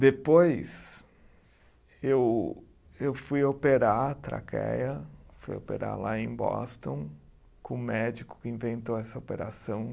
Depois, eu eu fui operar a traqueia, fui operar lá em Boston, com um médico que inventou essa operação.